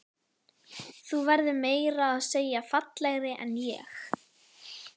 Þú verður meira að segja fallegri en ég.